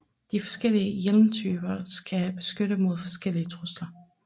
De forskellige hjelmtyper skal beskytte mod forskellige trusler